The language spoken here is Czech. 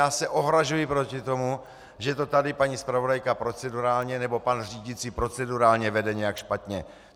Já se ohrazuji proti tomu, že to tady paní zpravodajka procedurálně nebo pan řídící procedurálně vede nějak špatně.